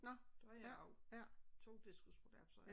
Nå det har jeg også 2 diskusprolapser